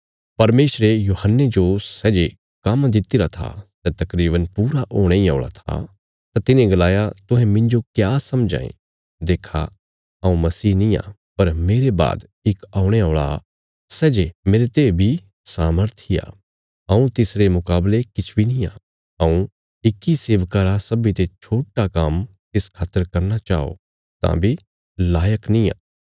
परमेशरे यूहन्ने जो सै जे काम्म दित्तिरा था सै तकरीवन पूरा होणे इ औल़ा था तां तिन्हें गलाया तुहें मिन्जो क्या समझां यें देखो हऊँ मसीह निआं पर मेरे बाद इक औणे औल़ा सै जे मेरते बी सामर्थी आ हऊँ तिसरे मुकावले किछ बी नींआ हऊँ इक्की सेवका रा सब्बीं ते छोट्टा काम्म तिस खातर करना चाओ तां बी लायक नींआ